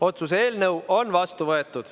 Otsuse eelnõu on vastu võetud.